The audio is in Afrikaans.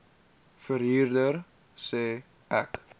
verhuurder sê ek